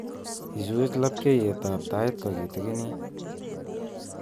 Ichuch labkyetab tait kokitinginit